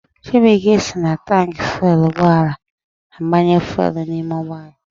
Chibuike si na taanki fuelu ụgbọala agbanye fuelu n'ime ụgbọala